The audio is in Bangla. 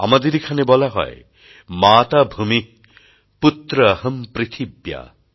আমাদের এখানে বলা হয় মাতা ভূমিঃ পুত্র অহম পৃথিব্যাঃ